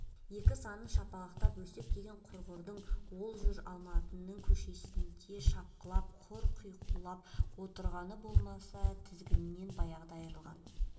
екі санын шапалақтап өсек деген құрғырың ол жүр алматының көшесінде шапқылап құр қауқиып отырғаны болмаса тізгінінен баяғыда айрылған